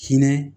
Hinɛ